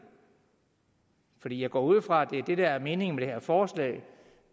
for jeg går ud fra at det der er meningen med det her forslag